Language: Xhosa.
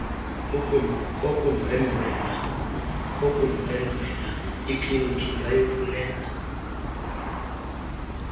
kokundwendwela ikliniki ingayimfuneka